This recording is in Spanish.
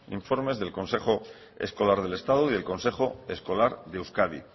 informes del consejo escolar del estado y del consejo escolar de euskadi